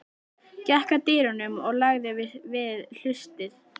Gekk að dyrunum og lagði við hlustir.